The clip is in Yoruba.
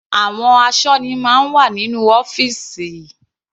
Àwọn asọ́ní máa ń wà nínú ọ́fìsì.